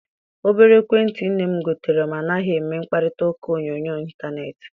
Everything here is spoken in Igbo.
Obere ekwentị nne m gotere m anaghị eme mkparitauka onyoonyo intaneeti.